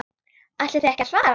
Ætlið þið ekki að svara?